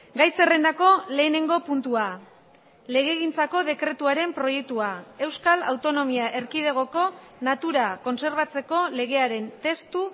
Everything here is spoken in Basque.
gai zerrendako lehenengo puntua legegintzako dekretuaren proiektua euskal autonomia erkidegoko natura kontserbatzeko legearen testu